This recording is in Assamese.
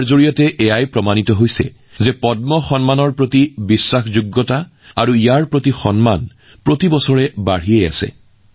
ইয়াৰ পৰা দেখা যায় যে পদ্ম বঁটাৰ প্ৰতিপত্তি ইয়াৰ বিশ্বাসযোগ্যতা আৰু ইয়াৰ প্ৰতি সন্মান প্ৰতি বছৰে বাঢ়িছে